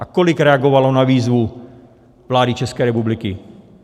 A kolik reagovalo na výzvu vlády České republiky?